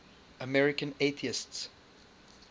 american atheists